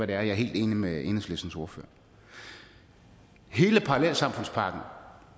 der er jeg helt enig med enhedslistens ordfører hele parallelsamfundspakken